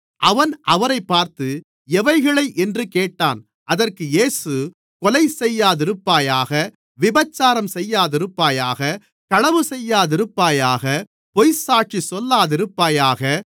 அவன் அவரைப் பார்த்து எவைகளை என்று கேட்டான் அதற்கு இயேசு கொலை செய்யாதிருப்பாயாக விபசாரம் செய்யாதிருப்பாயாக களவு செய்யாதிருப்பாயாக பொய்ச்சாட்சி சொல்லாதிருப்பாயாக